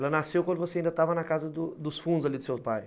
Ela nasceu quando você ainda estava na casa dos fundos ali do seu pai?